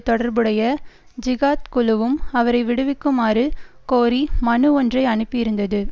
தொடர்புடைய ஜிஹாத் குழுவும் அவரை விடுவிக்குமாறு கோரி மனு ஒன்றை அனுப்பியிருந்தது